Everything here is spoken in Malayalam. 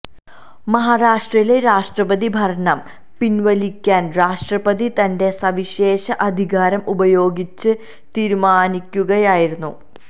മഹാരാഷ്ട്രയിലെ രാഷ്്ട്രപതി ഭരണം പിന്വലിക്കാന് രാഷ്ട്രപതി തന്റെ് സവിശേഷ അധികാരം ഉപയോഗിച്ച് തീരുമാനിക്കുകയായിരുന്നു